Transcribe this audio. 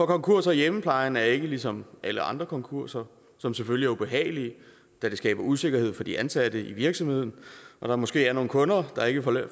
konkurser i hjemmeplejen er ikke ligesom alle andre konkurser som selvfølgelig er ubehagelige da de skaber usikkerhed for de ansatte i virksomheden og der måske er nogle kunder der ikke